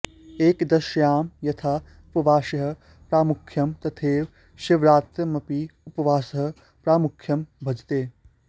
एकादश्यां यथा उपवासस्य प्रामुख्यं तथैव शिवरात्र्यामपि उपवासः प्रामुख्यं भजते